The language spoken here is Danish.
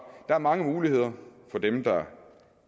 der er mange muligheder for dem der